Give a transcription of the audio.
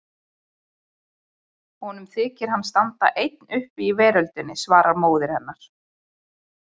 Honum þykir hann standa einn uppi í veröldinni, svaraði móðir hennar.